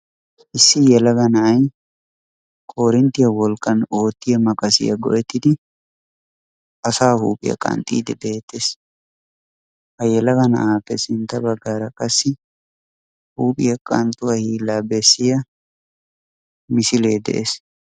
Issi yelaga na'ay koorinttiya wolqqan oottiya maqasiya go'ettidi asaa huuphiya qanxxiiddi beettes. Ha yelaga na'aappe sintta baggaara qassi huuphiya qanxxuwa hiillaa bessiya misilee de'ees.